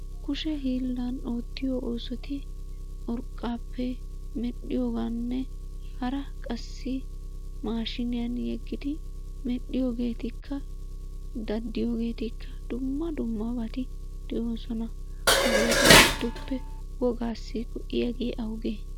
Kushe hiilaan oottiyo oosotti urqqappe medhdhiyooganne hara qassi mashiniyaan yeegidi medhiyoogetikka, daddiyoogeetikka dumma dummaabati de'oosona. Hageetu giddoppe wogassi go"iyaage awuge?